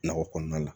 Nakɔ kɔnɔna la